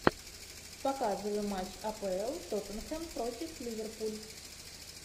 показывай матч апл тоттенхэм против ливерпуль